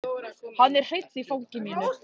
Hann er hreinn í fangi mínu.